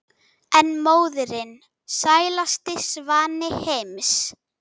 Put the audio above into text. en móðirin sælasti svanni heims